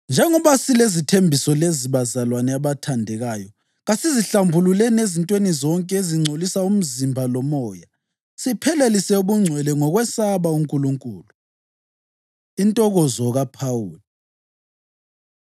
Njengoba silezithembiso lezi, bazalwane abathandekayo, kasizihlambululeni ezintweni zonke ezingcolisa umzimba lomoya, siphelelise ubungcwele ngokwesaba uNkulunkulu. Intokozo KaPhawuli